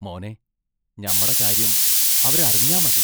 മോനേ, ഞമ്മട കാര്യം അവരറിഞ്ഞാ മതി.